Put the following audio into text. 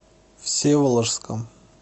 всеволожском